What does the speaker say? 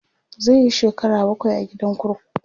zai Yi shekara bakwai a gidan kurkuku